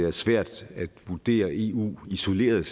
er svært at vurdere eu isoleret